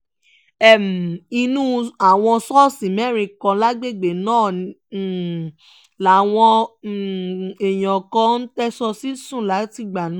um inú àwọn ṣọ́ọ̀ṣì mẹ́rin kan lágbègbè náà làwọn um èèyàn kan ń tẹ̀sọ̀ sí sùn látìgbà náà